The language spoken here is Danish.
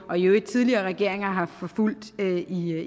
og i øvrigt tidligere regeringer jo har forfulgt